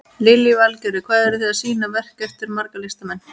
Lillý Valgerður: Hvað eru þið að sýna verk eftir marga listamenn?